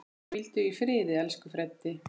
Hvíldu í friði, elsku Freddi.